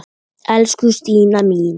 Elsku Stína mín.